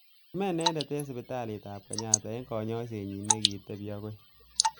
Kime inendet eng sipitalit ab Kenyatta eng kanyoiset nyi nekitebi akoi.